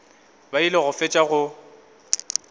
ba ile go fetša go